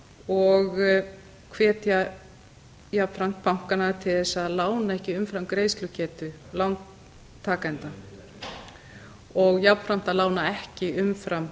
og hvetja jafnframt bankana til þess að lána ekki umfram greiðslugetu lántakenda og jafnframt að lána ekki umfram